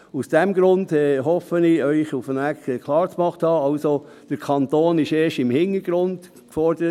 Aus diesem Grund hoffe ich, Ihnen irgendwie klargemacht zu haben, dass der Kanton im Hintergrund steht.